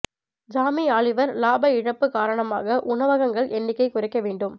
ஜாமி Oliver இலாப இழப்பு காரணமாக உணவகங்கள் எண்ணிக்கை குறைக்க வேண்டும்